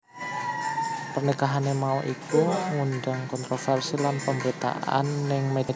Pernikahané mau iku nggundang kontroversi lan pamberitaan ning media